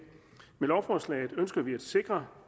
med lovforslaget ønsker vi at sikre